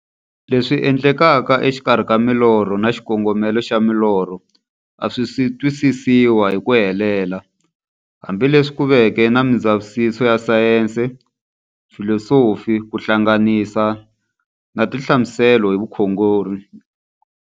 Leswi endlekaka exikarhi ka milorho na xikongomelo xa milorho a swisi twisisiwa hi ku helela, hambi leswi ku veke na mindzavisiso ya sayensi, filosofi ku hlanganisa na tinhlamuselo hi vukhongori.